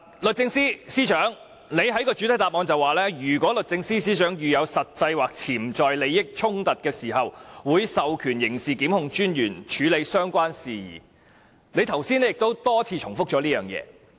律政司司長在主體答覆中提到"如律政司司長遇有實際或潛在利益衝突的情況......會授權刑事檢控專員處理有關事宜"，她剛才亦多次重複這一點。